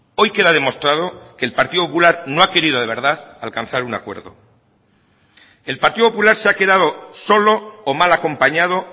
hoy queda demostrado que el partido popular no ha querido de verdad alcanzar un acuerdo el partido popular se ha quedado solo o mal acompañado